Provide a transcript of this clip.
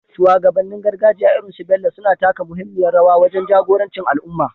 Shugabannin gargajiya irin su Bello suna taka muhimmiyar rawa wajen jagoranci al’umma,